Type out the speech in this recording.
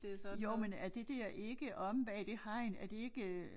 Jo men er det der ikke omme bag det hegn er det ikke øh